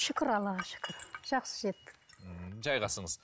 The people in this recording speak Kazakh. шүкір аллаға шүкір жақсы жеттік ммм жайғасыңыз